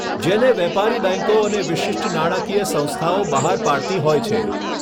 જેને વેપારી બેંકો અને વિશિષ્ટ નાણાંકીય સંસ્થાઓ બહાર પાડતી હોય છે.